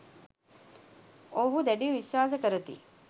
ඔවුහු දැඩිව විශ්වාස කරති